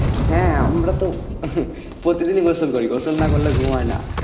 হ্যাঁ, আমরা তো প্রতিদিনই গোসল করি, গোসল না করলে ঘুম হয় না